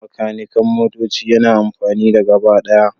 Makanikan motoci yana amfani da gabaɗaya